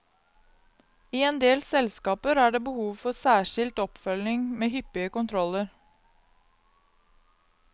I endel selskaper er det behov for særskilt oppfølging med hyppige kontroller.